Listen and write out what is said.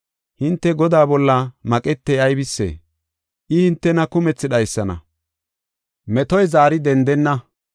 Hinte Godaa bolla maqetey aybisee? I hintena kumthi dhaysana; metoy zaari dendenna.